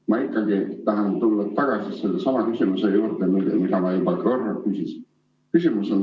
Ma ikkagi tahan tulla tagasi sellesama küsimuse juurde, mida ma juba korra küsisin.